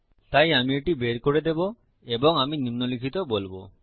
তাই আমি এটি বের করে দেবো এবং আমি নিম্নলিখিত বলবো